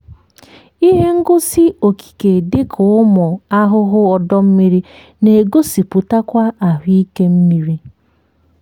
ihe ngosi okike dịka ụmụ ahụhụ ọdọ mmiri na-egosipụtakwa ahụike mmiri.